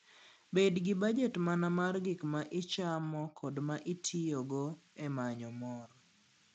Bed gi bajet mana mar gik ma ichamo kod ma itiyogo e manyo mor.